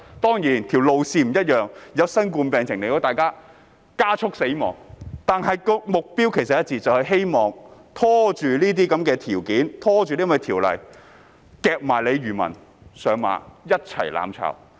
當然，路線並不一樣，因為新型冠狀病毒疫情的出現，加速大家"死亡"，但目標其實是一致的，就是希望拖延審議法案，甚至把漁民"夾上馬"，一起"攬炒"。